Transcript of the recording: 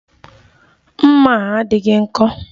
Mma a adịghị nkọ